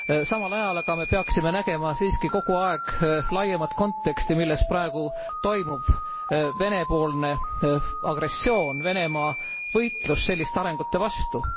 Samal ajal aga peaksime nägema siiski kogu aeg laiemat konteksti, milles praegu toimub Vene poolne agressioon, Venemaa võitlus selliste arengute vastu.